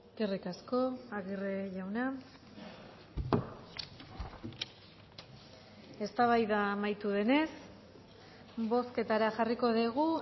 eskerrik asko aguirre jauna eztabaida amaitu denez bozketara jarriko dugu